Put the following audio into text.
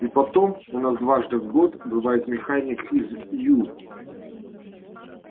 и потом у нас дважды в год бывает механик из ю